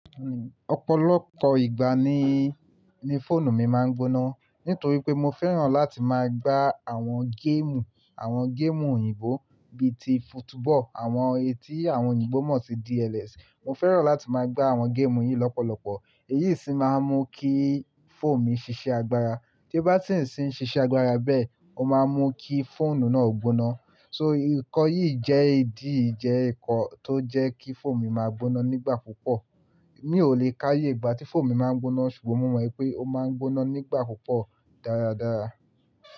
Ọ̀pọ̀lọpọ̀ ìgbà ni, ni fóònù mi máa ń gbóná. Nítorí pé mo fẹ́ràn láti máa gbá àwọn géèmù, àwọn géèmù òyìnbó bí ti football, àwọn etí àwọn òyìnbó mọ̀ sí DLS. Mo fẹ́ràn láti máa gbá àwọn géèmù yìí lọ́pọ̀lọpọ̀ èyí sì máa ń mú kí fóònù mi ṣiṣẹ́ agbára. Ti ó bá ti ń si n ṣiṣẹ́ agbára bẹ́ẹ̀, ó máa ń mú kí fóònù náà gbóná. So, ǹkan yìí jẹ́ ìdí, jẹ́ ǹkan tó jẹ́ kí fóònù mi máa gbóná nígbà púpọ̀. Mi ò lè káwé ìgbà tí fóònù mi máa ń gbóná ṣùgbọ́n mo mọ̀ pé ó máa ń gbóná nígbà púpọ̀ dáradára.